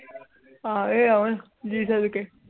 ਆਹ ਇਹ ਆਵਾਂ ਸੜਕੀ